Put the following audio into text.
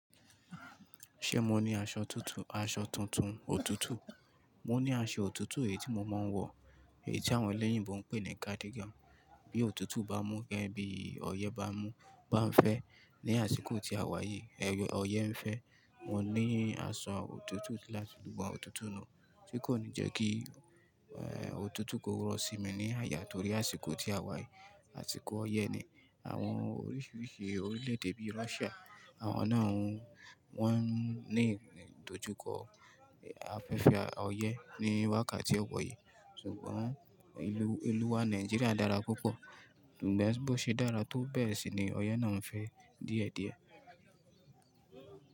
Ṣé mo ní aṣọ tuntun, aṣọ tuntun, òtútù? Mo ní aṣọ òtútù èyí tí mo máa ń wọ, èyí tí àwọn ẹlẹ́yìnbo ń pè ní cardigan. Bí òtútù bá mú gẹ́gẹ́ bí ọyẹ́ bá mú, bá ń fẹ́ ní àsìkò tí a wà yìí, ẹyẹ ọyẹ́ ń fẹ́. Mo ní aṣọ òtútù láti dùn bá òtútù náà, tí kò ní jẹ́ kí òtútù kó rọ̀ sí mi ní àyà torí àsìkò tí a wà yìí, àsìkò ọyẹ́ ni. Àwọn oríṣiríṣi orílẹ̀-èdè bíi Russia, àwọn náà wọ́n ní ìdojúkọ afẹ́fẹ́ ọyẹ́ ní wákàtí ọwọ̀ yìí. Sugbọn, ìlú wa Nàìjíríà dára púpọ̀, ṣùgbọ́n bó ṣe dára tó bẹ́ẹ̀ sì ni ọyẹ́ náà ń fẹ́ díẹ̀díẹ̀.